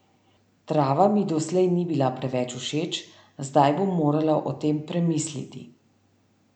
Trava mi doslej ni bila preveč všeč, zdaj bom morala o tem premisliti.